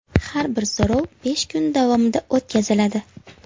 Har bir so‘rov besh kun davomida o‘tkaziladi.